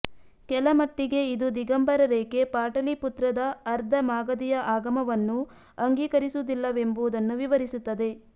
ಕೆಲಮಟ್ಟಿಗೆ ಇದು ದಿಗಂಬರರೇಕೆ ಪಾಟಲೀಪುತ್ರದ ಅರ್ಧ ಮಾಗದಿಯ ಆಗಮವನ್ನು ಅಂಗೀಕರಿಸುವುದಿಲ್ಲವೆಂಬುದನ್ನು ವಿವರಿಸುತ್ತದೆ